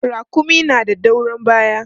Raƙumi na da doron baya.